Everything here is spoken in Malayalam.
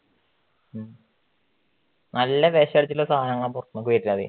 നല്ല വെഷമടിച്ചിട്ടുള്ള സദാനവാ പൊറത്തുനിന്ന് വരുന്നത്.